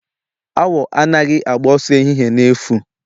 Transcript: Awọ anaghị agba ọsọ ehihie na-efu